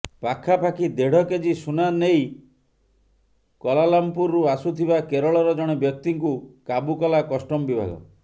ପାଖାପାଖି ଦେଢ଼ କେଜି ସୁନା ନେଇ କୁଲାଲମପୁରରୁ ଆସୁଥିବା କେରଳର ଜଣେ ବ୍ୟକ୍ତିଙ୍କୁ କାବୁ କଲା କଷ୍ଟମ ବିଭାଗ